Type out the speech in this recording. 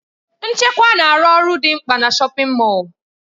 Nchekwa na-arụ ọrụ dị mkpa na shọpin Mọll.